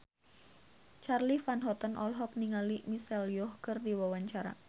Charly Van Houten olohok ningali Michelle Yeoh keur diwawancara